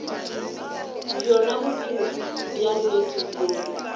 bjona bophelo bja nnete bjoo